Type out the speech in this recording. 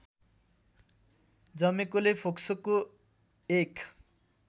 जमेकोले फोक्सोको एक